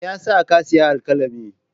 Me ya sa ka sayi alkalami?